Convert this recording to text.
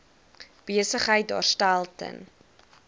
besigheid daarstel ten